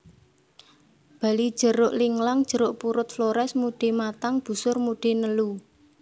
Bali jeruk linglang jeruk purut Flores mude matang busur mude nelu